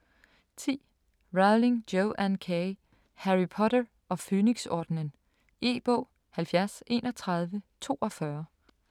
10. Rowling, Joanne K.: Harry Potter og Fønixordenen E-bog 703142